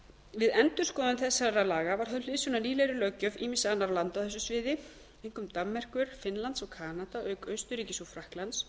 við endurskoðun þessara laga var höfð hliðsjón af nýlegri löggjöf ýmissa annarra landa á þessu sviði einkum danmerkur finnlandi og kanada auk austurríkis og frakklands